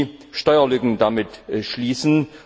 Wir wollten nie Steuerlücken damit schließen.